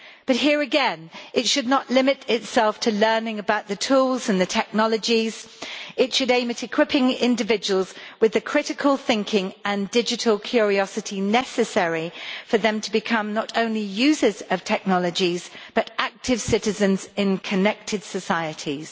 But here again, it should not limit itself to learning about the tools and the technologies, it should aim at equipping individuals with the critical thinking and digital curiosity necessary for them to become not only users of technologies but active citizens in connected societies.